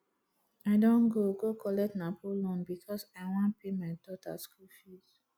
i don go go collect napo loan because i wan pay my daughter school fees